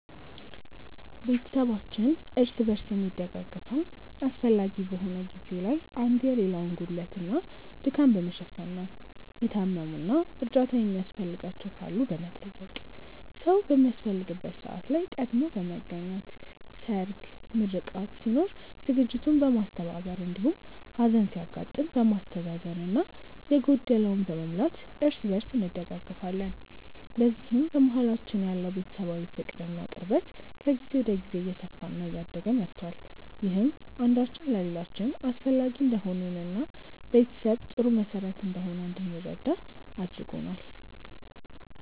ቤተሰባችን እርስ በርስ የሚደጋገፈው አስፈላጊ በሆነ ጊዜ ላይ አንዱ የሌላውን ጉድለት እና ድካም በመሸፈን ነው። የታመሙ እና እርዳታ የሚያስፈልጋቸው ካሉ በመጠየቅ፣ ሰዉ በሚያስፈልግበት ሰዓት ላይ ቀድሞ በመገኘት ሰርግ፣ ምርቃት ሲኖር ዝግጅቱን በማስተባበር እንዲሁም ሀዘን ሲያጋጥም በማስተዛዘን እና የጎደለውን በመሙላት እርስ በእርስ እንደጋገፋለን። በዚህም በመሀላችን ያለው ቤተሰባዊ ፍቅር እና ቅርበት ከጊዜ ወደ ጊዜ እየሰፋ እና እያደገ መቷል። ይህም አንዳችን ለሌላችን አስፈላጊ እንደሆንን እና ቤተሰብ ጥሩ መሰረት እንደሆነ እንድንረዳ አድርጎናል።